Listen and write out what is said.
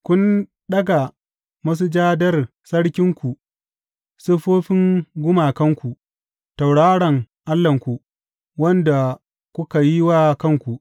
Kun ɗaga masujadar sarkinku, siffofin gumakanku, tauraron allahnku, wanda kuka yi wa kanku.